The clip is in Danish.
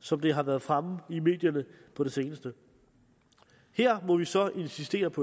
som det har været fremme i medierne på det seneste her må vi så insistere på